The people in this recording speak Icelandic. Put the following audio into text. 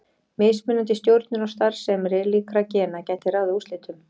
Mismunandi stjórnun á starfsemi líkra gena gæti ráðið úrslitum.